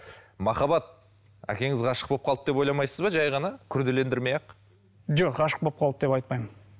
махаббат әкеңіз ғашық болып қалды деп ойламасыз ба жай ғана күрделендірмей ақ жоқ ғашық болып қалды деп айтпаймын